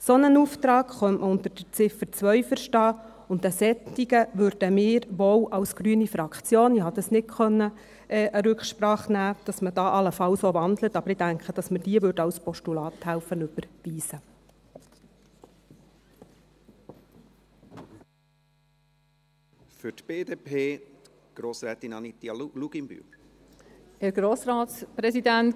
Einen solchen Auftrag könnte man unter der Ziffer 2 verstehen, und einen solchen würden wir wohl als grüne Fraktion … Ich konnte hier keine Rücksprache nehmen – dass man hier allenfalls auch wandelt –, aber ich denke, dass wir helfen würden, diese als Postulat zu überweisen.